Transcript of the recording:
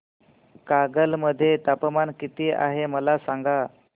कागल मध्ये तापमान किती आहे मला सांगा